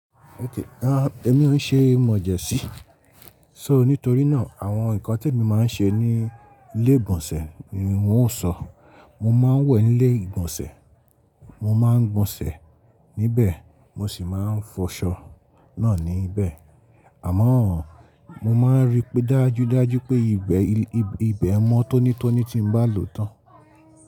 Okay, èmi ò n ṣe mọ̀jẹ́sí. So nítorí náà, àwọn nǹkan t'èmi máa ń ṣe ní ilé ìgbọ̀nsẹ̀ ni n ò sọ. Mo máa ń wẹ̀ ní ilé ìgbọ̀nsẹ̀, mo máa ń gbọ̀nṣẹ̀ níbẹ̀, mo sì máa ń fọṣọ náà níbẹ̀. Àmọ́-on, mo máa ń rí pé dájú dájú pé ibẹ̀, ibẹ̀ mọ́ tónítóní ti ń bá lò tán.